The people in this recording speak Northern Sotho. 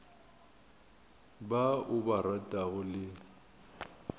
ba o ba ratago le